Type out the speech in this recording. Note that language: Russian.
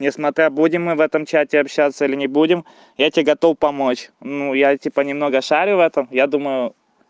несмотря будем мы в этом чате общаться или не будем я тебе готов помочь ну я типа немного шарю в этом я думаю